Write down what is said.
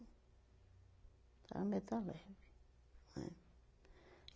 Era metalúrgico, né?